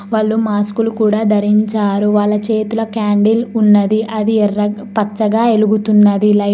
వాళ్లు మాస్కులు కూడా ధరించారు వాళ్ళ చేతుల క్యాండిల్ ఉన్నది అది ఎర్రగ్ పచ్చగా ఎలుగుతున్నది లైట్ --